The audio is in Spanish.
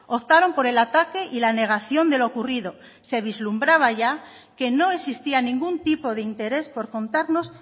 optaron por el ataque y la negación de lo ocurrido se vislumbraba ya que no existía ningún tipo de interés por contarnos